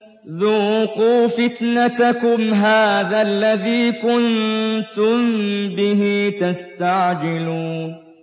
ذُوقُوا فِتْنَتَكُمْ هَٰذَا الَّذِي كُنتُم بِهِ تَسْتَعْجِلُونَ